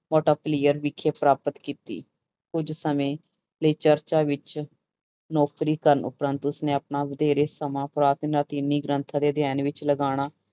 ਵਿਖੇ ਪ੍ਰਾਪਤ ਕੀਤੀ ਕੁੱਝ ਸਮੇਂ ਲਈ ਚਰਚ ਵਿੱਚ ਨੌਕਰੀ ਕਰਨ ਉਪਰੰਤ ਉਸਨੇ ਆਪਣਾ ਵਧੇਰੇ ਸਮਾਂ ਪੁਰਾਤਨ ਲਾਤੀਨੀ ਗ੍ਰੰਥ ਅਤੇ ਅਧਿਐਨ ਵਿੱਚ ਲਗਾਉਣਾ